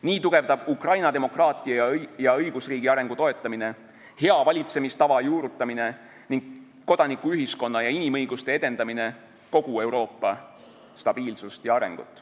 Nii tugevdab Ukrainas demokraatia ja õigusriigi arengu toetamine, hea valitsemistava juurutamine ning kodanikuühiskonna ja inimõiguste edendamine kogu Euroopa stabiilsust ja arengut.